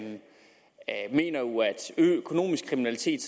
økonomisk kriminalitet